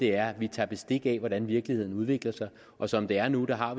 er at vi tager bestik af hvordan virkeligheden udvikler sig og som det er nu har